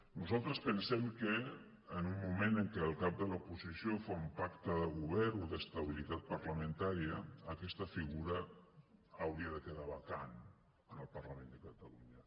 nosaltres pensem que en un moment en què el cap de l’oposició fa un pacte de govern o d’estabilitat parlamentària aquesta figura hauria de quedar vacant en el parlament de catalunya